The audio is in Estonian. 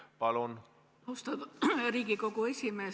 Palun!